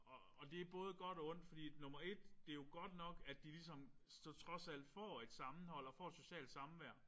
Og det er både godt og ondt fordi at nummer 1 det jo godt nok at de ligesom så trods alt får et sammenhold og får et socialt samvær